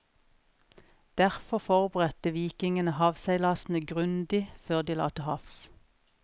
Derfor forberedte vikingene havseilasene grundig før de la til havs.